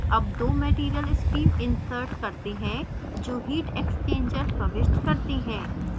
अब दो material stream insert करते हैं जो heat exchanger प्रविष्ट करते हैं